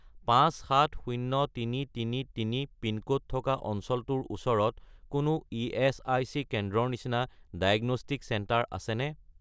570333 pincode থকা অঞ্চলটোৰ ওচৰত কোনো ইএচআইচি কেন্দ্ৰৰ নিচিনা ডায়েগনষ্টিক চেণ্টাৰ আছেনে?